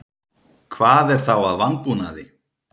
Hvað er þá að vanbúnaði?